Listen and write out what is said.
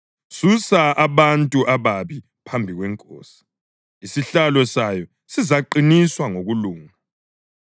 susa abantu ababi phambi kwenkosi, isihlalo sayo sizaqiniswa ngokulunga.